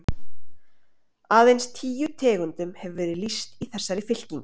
Aðeins tíu tegundum hefur verið lýst í þessari fylkingu.